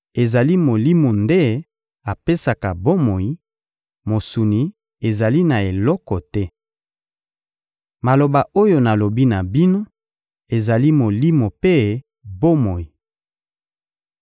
Ezali Molimo nde apesaka bomoi; mosuni ezali na eloko te. Maloba oyo nalobi na bino ezali Molimo mpe bomoi.